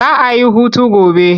Za a yi hutu gobe.